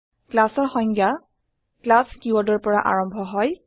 classৰ সংজ্ঞা ক্লাছ কিৱৰ্ডৰ পৰা আৰম্ভ হয়